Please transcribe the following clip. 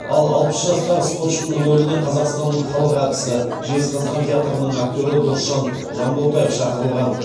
ал алпыс жастағы спортшының рөліне қазақстанның халық әртісі жезқазған театрының актері досжан жанботаев шақырылған